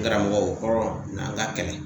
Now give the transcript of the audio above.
N karamɔgɔ, o kɔrɔ na an ka kɛlɛ.